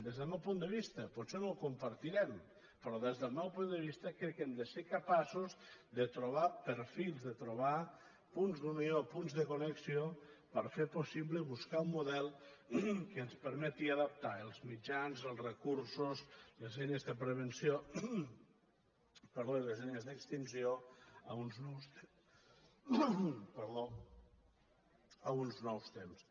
des del meu punt de vista potser no ho compartirem però des del meu punt de vista crec que hem de ser capaços de trobar perfils de trobar punts d’unió punts de connexió per fer possible buscar un model que ens permeti adaptar els mitjans els recursos les eines de prevenció i les ei·nes d’extinció a uns nous temps